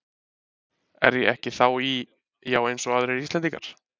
Er ég ekki þá í, já eins og aðrir Íslendingar?